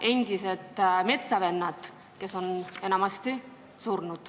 Endised metsavennad on enamasti surnud.